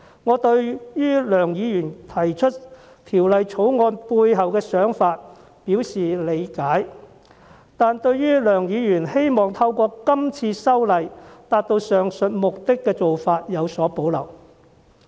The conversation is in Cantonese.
我對於梁議員提出《條例草案》背後的想法表示理解，但對於他希望透過今次修例達到上述目的的做法有所保留。